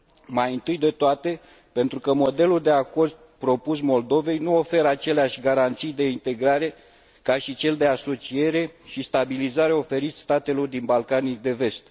Mai întâi de toate pentru că modelul de acord propus Moldovei nu oferă aceleași garanții de integrare ca și cel de asociere și stabilizare oferit statelor din Balcanii de Vest.